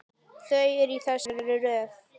Þau eru í þessari röð